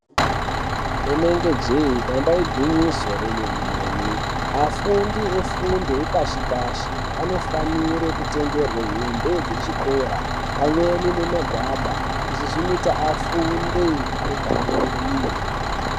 Rinenge jee damba igwinyiso remene-mene afundi vefundo yepashi-pashi anofanire kutengerwe hembe dzechikora pamweni magwada. Izvi zvinoita afunde pamweni.